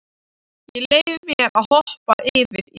Ég leyfi mér að hoppa yfir í bréfið.